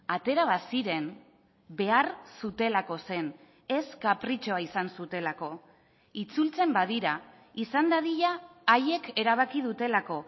atera baziren behar zutelako zen ez kapritxoa izan zutelako itzultzen badira izan dadila haiek erabaki dutelako